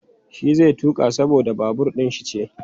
Shi zai tuƙa saboda babur ɗin shi ce.